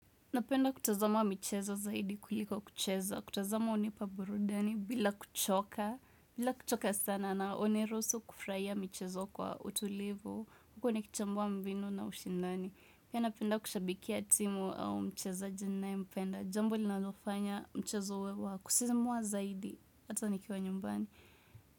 Napenda kutazama michezo zaidi kuliko kucheza, kutazama hunipa burudani bila kuchoka, bila kuchoka sana na uniruhusu kufurahia michezo kwa utulivu, huku nikichambua mbinu na ushindani. Pia napenda kushabikia timu au mchezaji nayempenda, jambo linalofanya mchezo huwe wa kusisimua zaidi, hata nikiwa nyumbani.